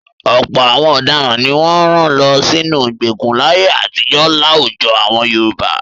Ọ̀pọ̀ àwọn ọ̀daràn ni wọ́n rán lọ sínú ìgbèkùn láyé àtijọ́ láwùjọ àwọn Yorùbá.